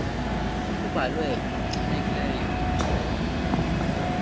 kubalwe ngokuchanekileyo umrhumo